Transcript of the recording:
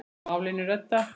Málinu reddað.